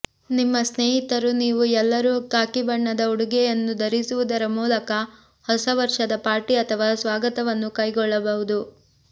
ನಿಮ್ಮ ಸ್ನೇಹಿತರು ನೀವು ಎಲ್ಲರೂ ಖಾಕಿ ಬಣ್ಣದ ಉಡುಗೆಯನ್ನು ಧರಿಸುವುದರ ಮೂಲಕ ಹೊಸ ವರ್ಷದ ಪಾರ್ಟಿ ಅಥವಾ ಸ್ವಾಗತವನ್ನು ಕೈಗೊಳ್ಳಬಹುದು